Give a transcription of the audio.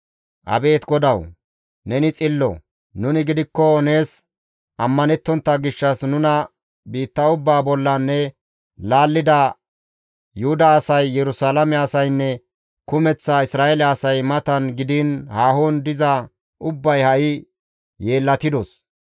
«Abeet GODAWU! Neni xillo; nuni gidikko nees ammanettontta gishshas nuna biitta ubbaa bollan ne laallida Yuhuda asay, Yerusalaame asaynne kumeththa Isra7eele asay matan gidiin haahon diza ubbay ha7i yeellatidos.